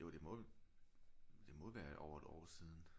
Jo det må det må være over et år siden